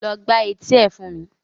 Lọ gbá etí ẹ̀ fún mi!